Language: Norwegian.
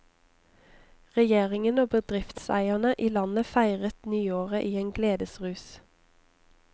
Regjeringen og bedriftseierne i landet feiret nyåret i en gledesrus.